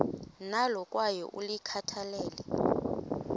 nalo kwaye ulikhathalele